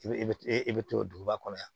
I bɛ i bɛ i bɛ to duguba kɔnɔ yan